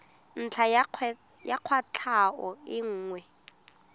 ntlha ya kwatlhao e nngwe